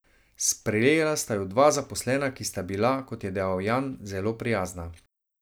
Sprejela sta ju dva zaposlena, ki sta bila, kot je dejal Jan, zelo prijazna.